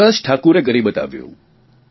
વિકાસ ઠાકુરે કરી બતાવ્યું